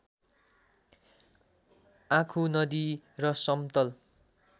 आँखु नदी र समतल